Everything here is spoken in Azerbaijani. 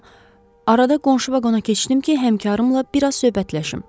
Amma arada qonşu vaqona keçdim ki, həmkarlarımla bir az söhbətləşim.